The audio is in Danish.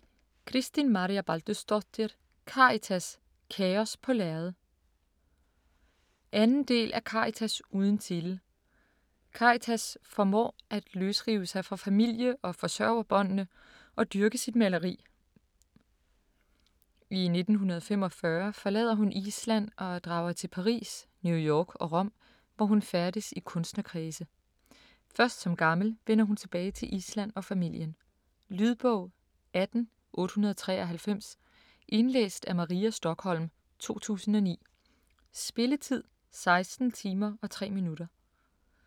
Kristín Marja Baldursdóttir: Karitas - kaos på lærred 2. del af Karitas uden titel. Karitas formår at løsrive sig fra famile- og forsørgerbåndene og dyrke sit maleri. I 1945 forlader hun Island og drager til Paris, New York og Rom, hvor hun færdes i kunstnerkredse. Først som gammel vender hun tilbage til Island og familien. Lydbog 18893 Indlæst af Maria Stokholm, 2009. Spilletid: 16 timer, 3 minutter.